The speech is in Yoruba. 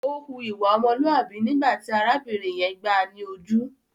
Ó hu ìwà ọmọlúàbí nígbà tí arábìnrin yẹn gbáà ni ojú.